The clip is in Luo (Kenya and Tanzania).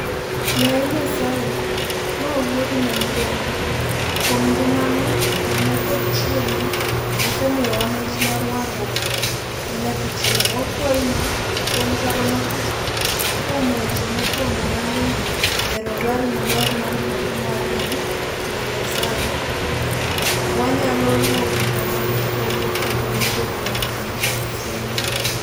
Yaye Nyasaye, ma Wuodi ma miderma, kuom ngimane, thone, kod chierne, osemiyowa mich mar warruok manyaka chieng'; wakwayi ni, kuom paro matut kuom weche mopondo manie Rosari maler mar Mariam Min Nyasaye, wanyalo luwo gigo ma gipuonjo, kendo yudo gigo ma gisingo.